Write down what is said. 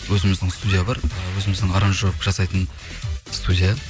өзіміздің студия бар і өзіміздің аранжировка жасайтын студия